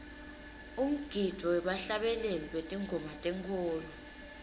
umgidvo webahlabeleli betingoma tenkholo